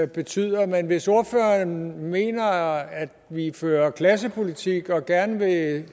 betyder men hvis ordføreren mener at vi fører klassepolitik og gerne